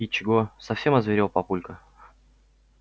и чего совсем озверел папулька